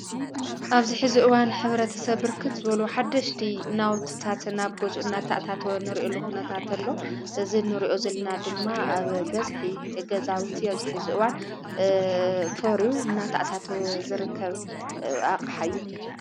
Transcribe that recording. ኣብዚ ሐዚ እዋን ሕብረተሰብ ብርክት ዘበሎ ሓደሽቲ ናውትታት ናብ ጐፁ እናታዕታተወ ኑርእዩ ሉኹነታ እንተሎ ዝኑርኦ ዘልና ድማ ኣብ በዝሒ እገዛውቲ ኣብዚ ሐዚ እዋን ፈሩዩ እናታኣታተወ ዝርከብ ኣቕሓ እዪ።